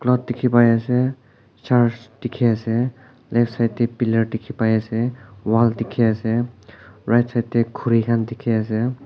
road dikhi pai ase church dikhi ase left side teh pillar dikhi pai ase wall dikhi ase right side deh khuri khan dikhi ase.